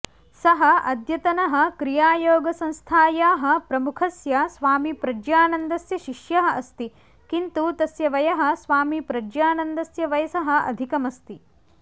सः अद्यतनः क्रियायोगसंस्थायाः प्रमुखस्य स्वामीप्रज्ञानन्दस्य शिष्यः अस्ति किन्तु तस्य वयः स्वामीप्रज्ञानन्दस्य वयसः अधिकमस्ति